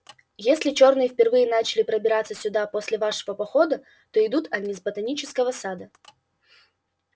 если чёрные впервые начали пробираться сюда после вашего похода то идут они с ботанического сада